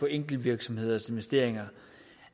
enkeltvirksomheders investeringer